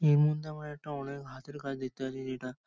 এর মধ্যে আমরা একটা অনেক হাতের কাজ দেখতে পাচ্ছি যেটা --